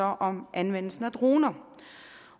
om anvendelsen af droner